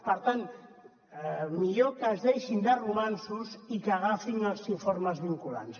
per tant millor que es deixin de romanços i que agafin els informes vinculants